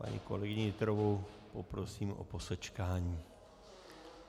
Paní kolegyni Nytrovou poprosím o posečkání.